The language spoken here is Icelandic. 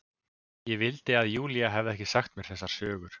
Ég vildi að Júlía hefði ekki sagt mér þessar sögur.